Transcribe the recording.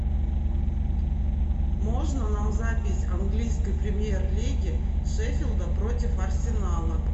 можно нам запись английской премьер лиги шеффилда против арсенала